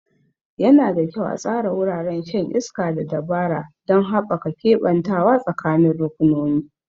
Yana da kyau a tsara wuraren shan iska da dabara don haɓaka keɓantawa tsakanin rukunonin.